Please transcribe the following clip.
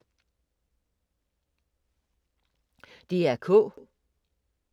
DR K